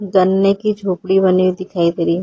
गन्ने की झोपड़ी बनी दिखाई दे रही है।